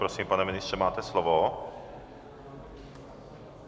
Prosím, pane ministře, máte slovo.